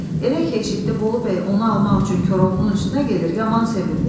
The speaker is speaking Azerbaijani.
Elə ki eşitdi Bolu bəy onu almaq üçün Koroğlunun üstünə gedir, yaman sevindi.